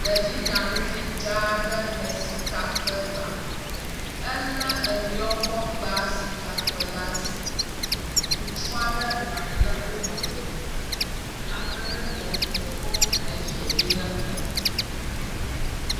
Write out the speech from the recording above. Ɖevi nyanuvi dzaa aɖe le sika kpe gbam, ele enuya wokɔ gba sika la asi. Ŋutsu ale nɔ anyi le emegbe. Ame ɖe le ekpe kɔm nɛ be ne gba.